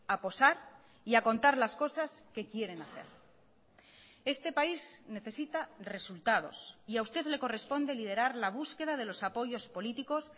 a posar y a contar las cosas que quieren hacer este país necesita resultados y a usted le corresponde liderar la búsqueda de los apoyos políticos